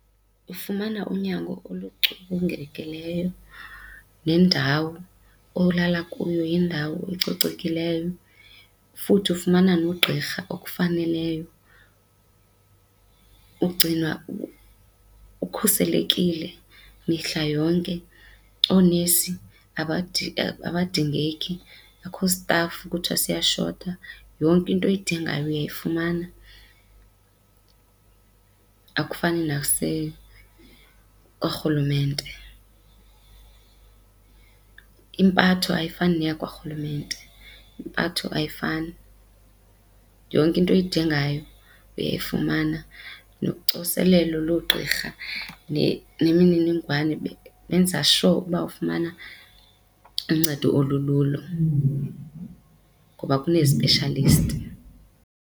Ufumana unyango oluculungekileyo, nendawo olala kuyo yindawo ecocekileyo futhi ufumana nogqirha okufaneleyo. Ugcinwa ukhuselekile mihla yonke, oonesi abadingeki, akukho sitafu kuthiwa siyashota yonke into oyidingayo uyayifumana. Akufani oorhulumente, impatho ayifani neyakwarhulumente. Impatho ayifani, yonke into oyidingayo uyayifumana nocoselelo loogqirha nemininingwane benze sure ukuba ufumana uncedo olululo ngoba kunee-specialist.